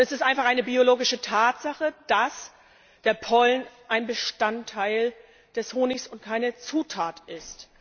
Es ist einfach eine biologische Tatsache, dass der Pollen ein Bestandteil des Honigs und keine Zutat ist.